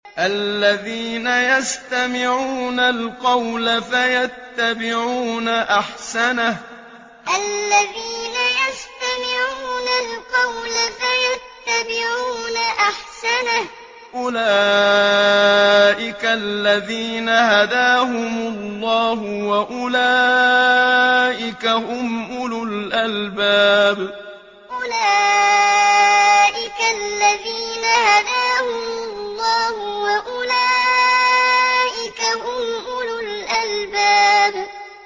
الَّذِينَ يَسْتَمِعُونَ الْقَوْلَ فَيَتَّبِعُونَ أَحْسَنَهُ ۚ أُولَٰئِكَ الَّذِينَ هَدَاهُمُ اللَّهُ ۖ وَأُولَٰئِكَ هُمْ أُولُو الْأَلْبَابِ الَّذِينَ يَسْتَمِعُونَ الْقَوْلَ فَيَتَّبِعُونَ أَحْسَنَهُ ۚ أُولَٰئِكَ الَّذِينَ هَدَاهُمُ اللَّهُ ۖ وَأُولَٰئِكَ هُمْ أُولُو الْأَلْبَابِ